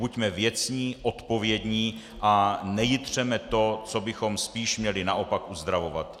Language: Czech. Buďme věcní, odpovědní a nejitřeme to, co bychom spíš měli naopak uzdravovat.